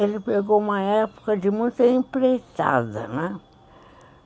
Ele pegou uma época de muita empreitada, né?